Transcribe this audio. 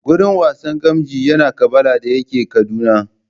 Gurin wasan gamji yana Kabala da yake Kaduna